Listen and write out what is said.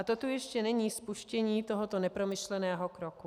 A to tu ještě není spuštění tohoto nepromyšleného kroku.